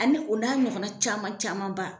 Ani o n'a ɲɔgɔn na caman caman ba.